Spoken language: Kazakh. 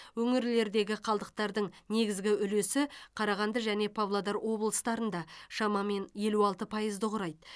өңірлердегі қалдықтардың негізгі үлесі қарағанды және павлодар облыстарында шамамен елу алты пайызды құрайды